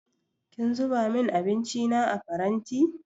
Kin zuba min abinci na a faranti?